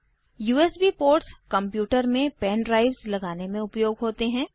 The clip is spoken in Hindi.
यूएसबी पोर्ट्स कंप्यूटर में पेन ड्राइव्स लगाने में उपयोग होते हैं